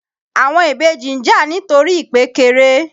Àwọn ìbejì ń jà nítorí ìpékeré.